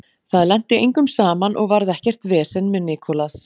Það lenti engum saman og varð ekkert vesen með Nicolas.